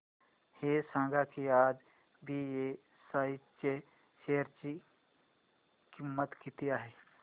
हे सांगा की आज बीएसई च्या शेअर ची किंमत किती आहे